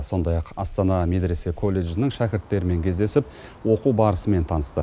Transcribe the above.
сондай ақ астана медресе колледжінің шәкірттерімен кездесіп оқу барысымен танысты